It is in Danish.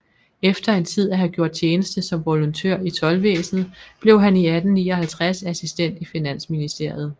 Efter en tid at have gjort tjeneste som volontør i Toldvæsenet blev han 1859 assistent i Finansministeriet